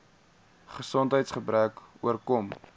gesondheids gebreke oorkom